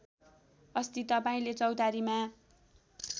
अस्ति तपाईँले चौतारीमा